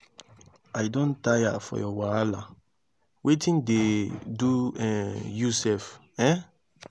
i don tire for your wahala wetin dey do um you sef? um